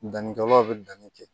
Danni kɛlaw bɛ danni kɛ